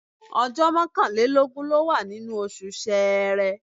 Ọjọ́ mọ́kànlélọ́gbọ̀n ló wà nínú oṣù Ṣẹẹrẹ.